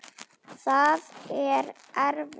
Það er erfitt.